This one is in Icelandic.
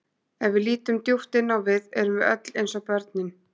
Ef við lítum djúpt inn á við erum við öll eins og börnin.